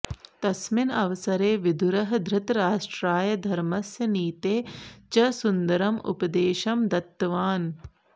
तस्मिन् अवसरे विदुरः धृतराष्ट्राय धर्मस्य नीतेः च सुन्दरम् उपदेशं दत्तवान्